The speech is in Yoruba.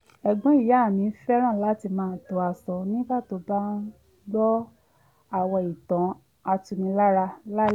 ẹ̀gbọ́n ìyá mi fẹ́ràn láti máa to aṣọ nígbà tó bá ń gbọ́ àwọn ìtàn atunilára lálẹ́